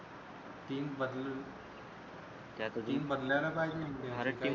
team बद team बदलायला पाहिजे इंडियाची